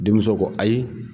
Denmuso ko ayi